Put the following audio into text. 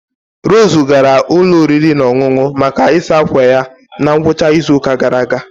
Rose gara ụlọ oriri na ọṅụṅụ maka ịsa akwa ya na ngwụcha izu ụka gara aga